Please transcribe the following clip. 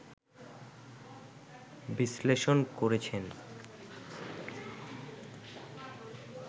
বিশ্লেষণ করেছেন